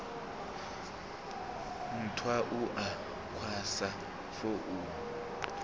nthwa u a kwasha founu